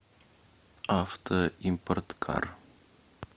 авто импорткар